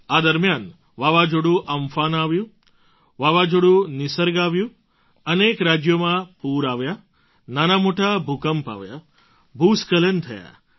આ દરમિયાન વાવાઝોડું અમ્ફાન આવ્યું વાવાઝોડું નિસર્ગ આવ્યું અનેક રાજ્યોમાં પૂર આવ્યાં નાનામોટા ભૂકંપ આવ્યા ભૂસ્ખલન થયાં